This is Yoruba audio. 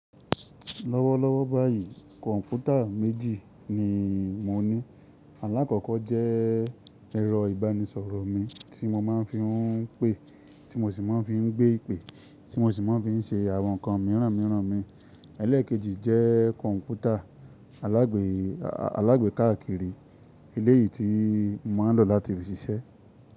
Lọ́wọ́lọ́wọ́ báyìí kọ̀ǹpútà méjì ni mo ní. Alákọ̀ọ́kọ́ jẹ́ ẹ̀rọ ìbánisọ̀rọ̀ mi tí mo má ń fi ń pé, tí mo sì má ń fi ń gbé ìpè, tí mo sì má ń fi ń ṣe àwọn nǹkan mìíràn mìíràn mi. Élékèjì jẹ́ kọ̀ǹpútà alágbèkéakiri eleyìí tí mo má ń lò láti fi ṣiṣẹ́